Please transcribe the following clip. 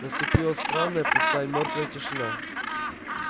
наступила странная пустая мёртвая тишина